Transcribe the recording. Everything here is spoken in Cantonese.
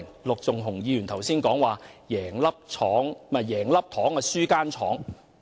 陸頌雄議員剛才說"贏了一顆糖，輸了一間廠"。